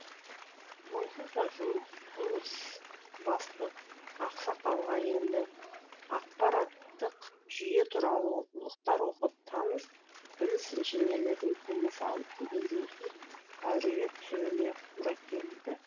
онсыз да жұмысбасты ақсақалға енді ақпараттық жүйе туралы оқулықтар оқып таныс біліс инженерлерден кеңес алып дегендей ит әуіреге түсуіне тура келді